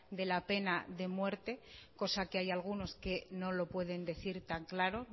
de la pena de muerte cosa que hay algunos que no lo pueden decir tan claro